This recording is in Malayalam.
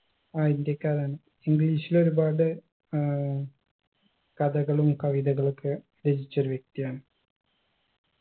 ആ ഇന്ത്യക്കാരൻ english ൽ ഒരുപാട് ഏർ കഥകളും കവിതകളൊക്കെ രചിച്ചൊരു വ്യക്തിയാണ്